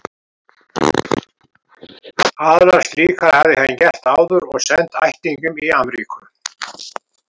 Aðrar slíkar hafði hann gert áður og sent ættingjum í Amríku.